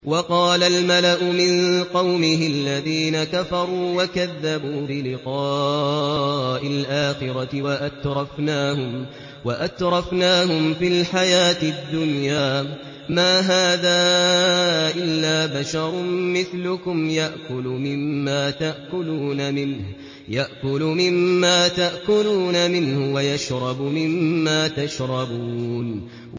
وَقَالَ الْمَلَأُ مِن قَوْمِهِ الَّذِينَ كَفَرُوا وَكَذَّبُوا بِلِقَاءِ الْآخِرَةِ وَأَتْرَفْنَاهُمْ فِي الْحَيَاةِ الدُّنْيَا مَا هَٰذَا إِلَّا بَشَرٌ مِّثْلُكُمْ يَأْكُلُ مِمَّا تَأْكُلُونَ مِنْهُ وَيَشْرَبُ مِمَّا تَشْرَبُونَ